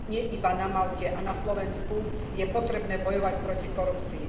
Nie iba na Malte a na Slovensku je potrebné bojovať proti korupcii.